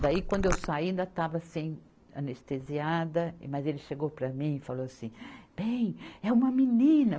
Daí quando eu saí ainda estava assim anestesiada, mas ele chegou para mim e falou assim, bem, é uma menina.